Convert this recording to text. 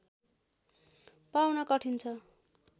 पाउन कठिन छ